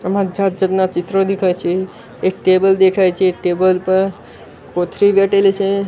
એમા જાત જાતના ચિત્રો દદેખાય છે એક ટેબલ દેખડાઈ છે એક ટેબલ પર કોથ્રી વેટેલી છે.